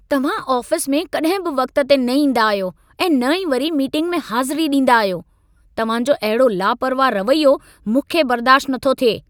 तव्हां आफ़िस में कॾहिं बि वक़्त ते न ईंदा आहियो ऐं न ई वरी मीटिंग में हाज़िरी ॾींदा आहियो। तव्हां जो अहिड़ो लापरवाह रवैयो मूंखे बर्दाश्ति नथो थिए।